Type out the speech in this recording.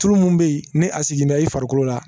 Tulu mun be yen ni a sigi bɛ i farikolo la